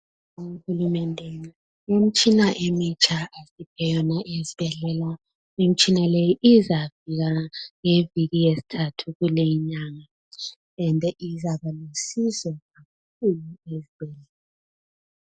siyabonga uhulumende ngemitshina emitsha eyama izibhedlela imitshina leyi izafika ngeviki yesithathu kuleyi inyanga ende izabalusizo kakhulu